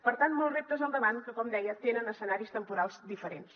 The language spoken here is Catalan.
per tant molts reptes al davant que com deia tenen escenaris temporals diferents